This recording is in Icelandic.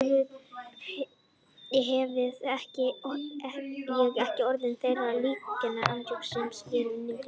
Hefði ég ekki orðið þeirrar líknar aðnjótandi sem skriftir mínar fyrir